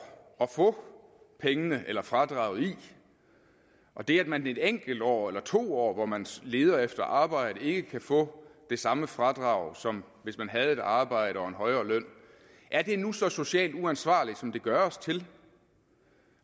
at få pengene eller fradraget i og det at man i et enkelt år eller to år hvor man leder efter arbejde ikke kan få det samme fradrag som hvis man havde et arbejde og en højere løn er det nu så socialt uansvarligt som det gøres til